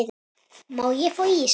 Má ég fá ís?